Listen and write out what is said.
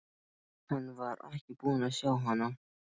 Hann var ekki búinn að sjá hana.